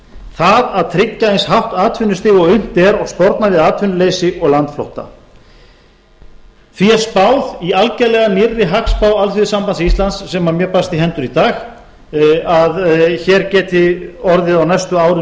það að tryggja eins hátt atvinnustig og unnt er og sporna við atvinnuleysi og landflótta því er spáð í algjörlega nýrri hagspá alþýðusambands íslands sem mér barst í hendur í dag að hér geti orðið á næstu